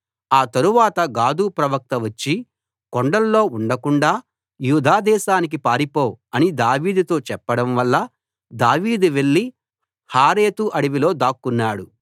ఆ తరువాత గాదు ప్రవక్త వచ్చి కొండల్లో ఉండకుండాా యూదా దేశానికి పారిపో అని దావీదుతో చెప్పడంవల్ల దావీదు వెళ్ళి హారెతు అడవిలో దాక్కున్నాడు